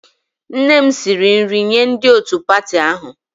Nne m siri nri nye ndị otu pati ahụ